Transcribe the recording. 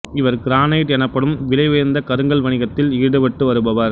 இவர் கிரானைட் எனப்படும் விலை உயர்ந்த கருங்கல் வணிகத்தில் ஈடுபட்டு வருபவர்